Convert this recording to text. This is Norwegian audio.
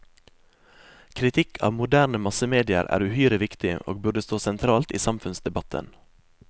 Kritikk av moderne massemedier er uhyre viktig, og burde stå sentralt i samfunnsdebatten.